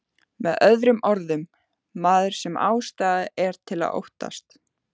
Með öðrum orðum, maður sem ástæða er til að óttast.